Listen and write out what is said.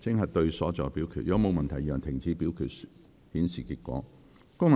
如果沒有問題，現在停止表決，顯示結果。